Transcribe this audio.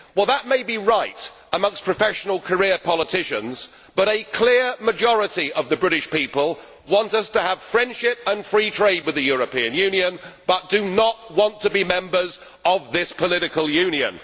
Well, that may be right amongst professional career politicians, but a clear majority of the British people want us to have friendship and free trade with the European Union, but do not want to be members of this political Union.